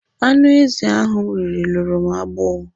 Anụ ezi ahụ m riri luru m agbọ.